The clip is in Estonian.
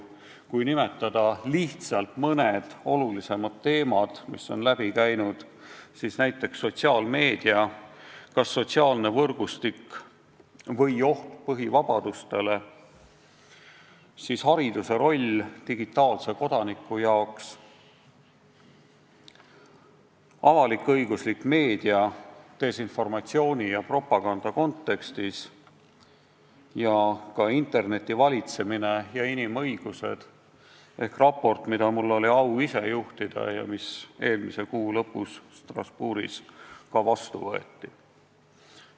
Kui nimetada mõned olulisemad teemad, mis on läbi käinud, siis näiteks "Sotsiaalmeedia – kas sotsiaalne võrgustik või oht põhivabadustele?", "Hariduse roll digitaalse kodaniku jaoks", "Avalik-õiguslik meedia desinformatsiooni ja propaganda kontekstis" ning "Interneti valitsemine ja inimõigused" ehk raport, mida mul oli au ise juhtida ja mis eelmise kuu lõpus Strasbourgis ka vastu võeti.